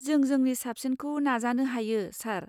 जों जोंनि साबसिनखौ नाजानो हायो, सार।